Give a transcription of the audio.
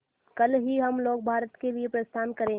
कल ही हम लोग भारत के लिए प्रस्थान करें